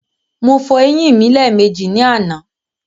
Mo fọ eyín mi lẹ́ẹ̀mejì ní àná.